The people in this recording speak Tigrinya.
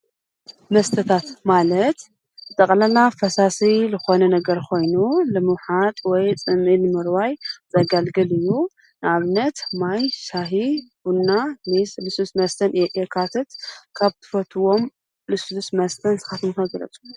መስተታት ማለት ጠቕለላ ፈሳሲ ልኾነ ነገር ኾይኑ ለምውሓጥ ወይ ጽምኢል ምርዋይ ጸጋልግል እዩ ናብነት ማይ፣ ሻሕ፣ ቡና፣ ሜስ፣ ልሱ ፣መስተን የካትት ካብ ትፈትዎም ልሱዱስ መስተን ስኻትምፈግረፁ?